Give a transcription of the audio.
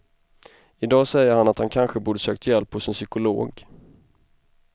I dag säger han att han kanske borde sökt hjälp hos en psykolog.